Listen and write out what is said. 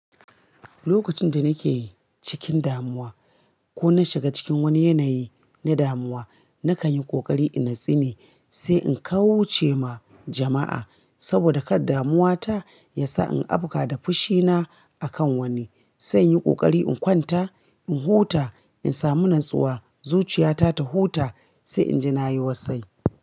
Lokacin da nake cikin damuwa ko na shiga cikin wani yanayi na damuwa, na kan yi ƙoƙari in natsine sai in kawuce ma jama'a saboda kar damuwata ya sa in abka da fushina a kan wani. Sai in yi ƙoƙari in kwanta, in huta, in samu natsuwa, zuciyata ta huta sai in je na yi wasai.